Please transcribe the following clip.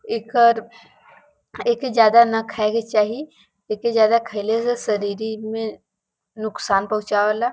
एकर एके ज्यादा न खाए के चाही। एके ज्यादा खईले से शरीरी में नुकसान पहुचावे ला।